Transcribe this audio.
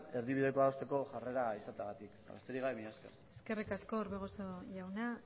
erdibidekoa adosteko jarrera izategatik besterik gabe mila esker eskerrik asko orbegozo jauna